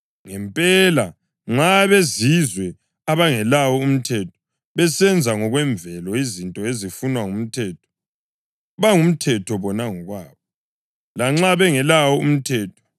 (Ngempela, nxa abeZizwe, abangelawo umthetho, besenza ngokwemvelo izinto ezifunwa ngumthetho, bangumthetho bona ngokwabo, lanxa bengelawo umthetho,